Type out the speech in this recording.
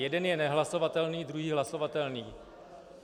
Jeden je nehlasovatelný, druhý hlasovatelný.